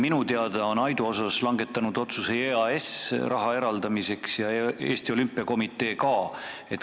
Minu teada on EAS ja ka Eesti Olümpiakomitee Aidu osas raha eraldamise otsuse langetanud.